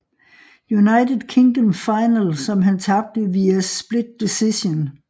United Kingdom Finale som han tabte via split decision